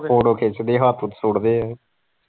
photo ਖਿੱਚਦੇ ਹੱਥ ਸੁੱਟਦੇ।